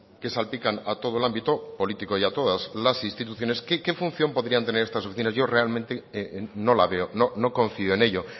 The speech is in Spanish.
que salpican a todo el ámbito político y a todas las instituciones qué función podrían tener estas oficinas yo realmente no la veo no confío en ello